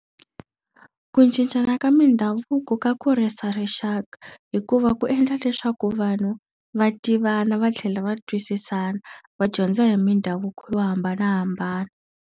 Ku cincana ka mindhavuko ka kurisa rixaka hikuva ku endla leswaku vanhu va tivana va tlhela va twisisana, va dyondza hi mindhavuko yo hambanahambana.